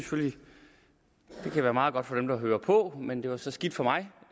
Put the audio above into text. kan være meget godt for dem der hører på men det var så skidt for mig